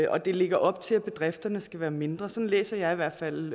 og det lægger op til at bedrifterne skal være mindre sådan læser jeg i hvert fald